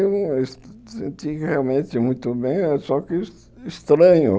Eu senti realmente muito bem, só que estranho.